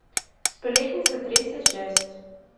сплетница третья часть